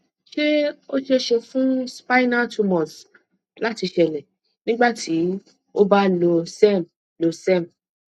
se o ṣee ṣe fun spinal tumors láti ṣeélẹ nígbà tí o ba lo serm lo serm